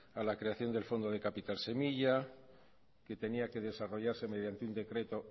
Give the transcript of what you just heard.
a la creación de fondo del capital semilla que tenía que desarrollarse mediante un decreto